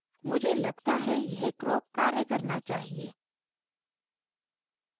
मुझे लगता है यह crop कार्य करना चाहिए